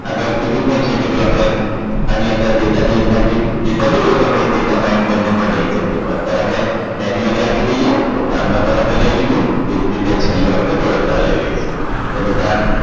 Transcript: અગાઉ કીધું પણ છે જો આપણે આની અંદર data base માંથી data લઈએ તો data bind કરીને પણ લઈ શકીએ પણ અત્યારે આપણે menually આપી દઈએ જામનગર આપણે લઈ લીધું એ જ રીતે છેલ્લું આપણે વડોદરા લઈ લઈશું એ બધા